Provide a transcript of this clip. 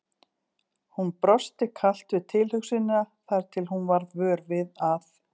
Hún brosti kalt við tilhugsunina þar til hún varð vör við að